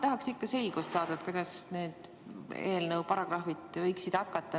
Tahaks ikka selgust saada, kuidas teie eelnõu paragrahvid võiksid hakata rakenduma.